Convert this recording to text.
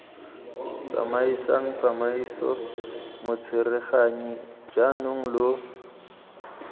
tsamaisang tsamaiso motsereganyi jaanong lo